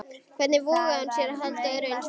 Hvernig vogaði hún sér að halda öðru eins fram?